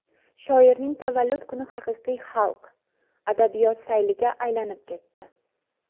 Shoirning tavallud kuni haqiqiy xalq, adabiyot sayliga aylanib ketdi.